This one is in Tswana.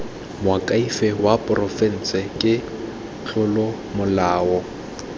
moakhaefe wa porofense ke tlolomolao